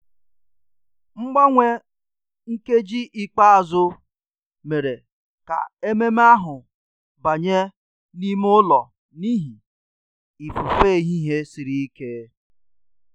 Mgbanwe nkeji ikpeazụ mere ka ememe ahụ banye n'ime ụlọ n'ihi ifufe ehihie siri ike